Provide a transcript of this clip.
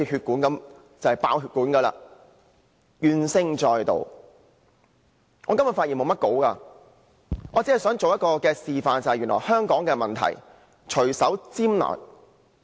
我今天沒有擬備發言稿，我只想示範一下原來香港的問題可以隨手拈來的。